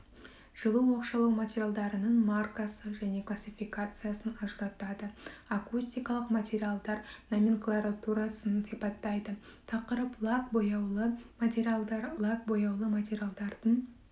жылу оқшаулау материалдарының маркасын және классификациясын ажыратады акустикалық материалдар номенклатурасын сипаттайды тақырып лак бояулы материалдар лак бояулы материалдардың